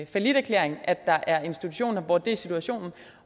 falliterklæring at der er institutioner hvor det er situationen